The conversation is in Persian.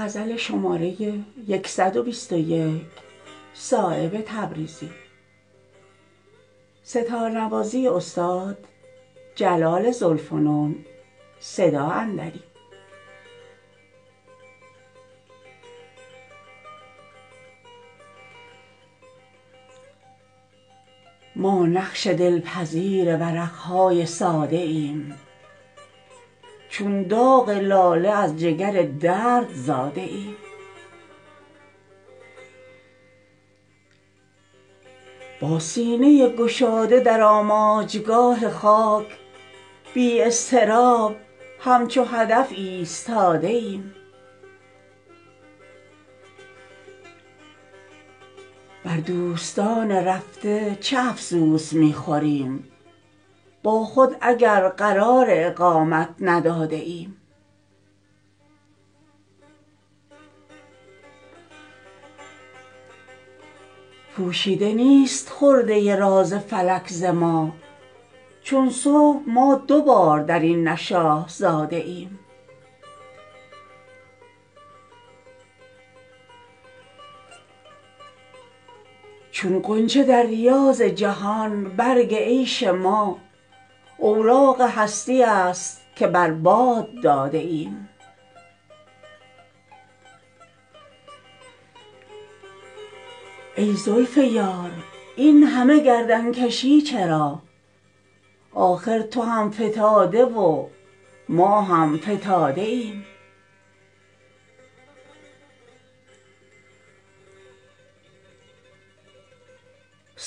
ما نقض دل پذیر ورق های ساده ایم چون داغ لاله از جگر درد زاده ایم با سینه گشاده در آماجگاه خاک بی اضطراب همچو هدف ایستاده ایم گویا برات عمر مؤبد گرفته ایم پشتی که ما ز جسم به دیوار داده ایم بر دوستان رفته چه افسوس می خوریم با خود اگر قرار اقامت نداده ایم از عاجزان کار فرو بسته دلیم هرچند عقده های فلک را گشاده ایم کوه گناه ما نتواند تمام کرد سنگ کمی که ما به ترازو نهاده ایم پوشیده نیست خرده راز فلک ز ما چون صبح ما دوبار درین نشأه زاده ایم در پرده نقشبند گلستان عالمیم چون لوح آب اگر چه زهر نقش ساده ایم چون غنچه در ریاض جهان برگ عیش ما اوراق هستیی است که بر باد داده ایم از روی نرم سختی ایام می کشیم در قبضه کشاکش گردون کباده ایم ای زلف یار این همه گردنکشی چرا آخر تو هم فتاده و ما هم فتاده ایم